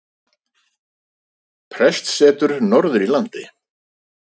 Prestssetur norður í landi.